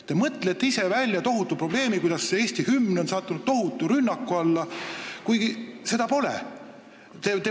Te olete mõelnud välja tohutu probleemi, nagu Eesti hümn oleks sattunud tohutu rünnaku alla, kuigi seda pole.